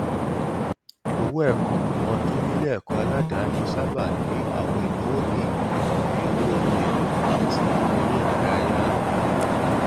owó ẹkọ ọdún níléẹkọ aládàání sáábà ní àwọn ìnáwó míì bíi owó ohun èlò àti eréìdárayá